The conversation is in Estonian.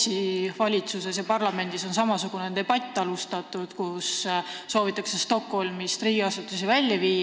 Sealses valitsuses ja parlamendis on alustatud samasugust debatti, et riigiasutusi soovitakse Stockholmist välja viia.